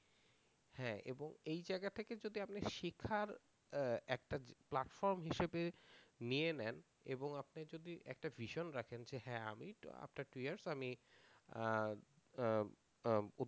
হ্যাঁ এবং এই জায়গা থেকে যদি আপনি শেখার একটা প্ল্যাটফর্ম হিসাবে নিয়ে নেন এবং আপনি যদি একটা vision রাখেন যে হ্যাঁ আমি after two year আমি